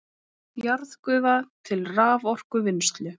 Jarðgufa til raforkuvinnslu